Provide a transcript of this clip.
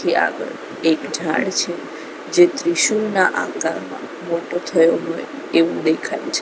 ત્યાં આગળ એક ઝાડ છે જે ત્રિશુલના આકારનો મોટો થયો હોય એવું દેખાય છે.